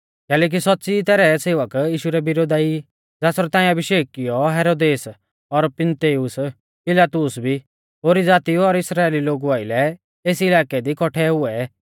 कैलैकि सौच़्च़ी ई तैरै सेवक यीशु रै विरोधा ई ज़ासरौ ताऐं अभिषेक कियौ हेरोदेस और पुन्तियुस पिलातुस भी ओरी ज़ातीऊ और इस्राइली लोगु आइलै एस इलाकै दी कौट्ठै हुऐ